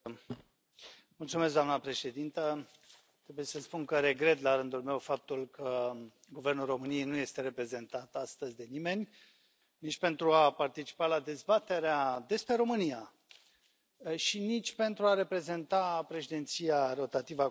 Doamnă președintă, trebuie să spun că regret, la rândul meu, faptul că Guvernul României nu este reprezentat astăzi de nimeni, nici pentru a participa la dezbaterea despre România și nici pentru a reprezenta președinția rotativă a Consiliului European.